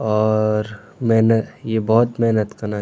और मैना यि भौत मेहनत कना।